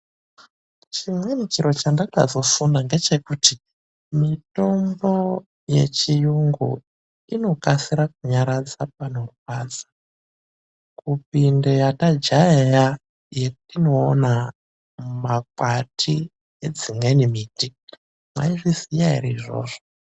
Chimweni chiro chendakazofunda ngechekuti mitombo yechiyungu inokasira kunyaradza panorwadza kupinde yetajaeya yetinoona mumakwati edzimweni miti. Mwaizviziya ere izvozvo?